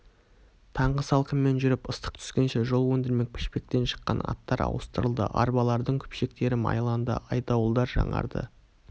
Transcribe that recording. таңғы салқынмен жүріп ыстық түскенше жол өндірмек пішпектен шыққан аттар ауыстырылды арбалардың күпшектері майланды айдауылдар жаңарды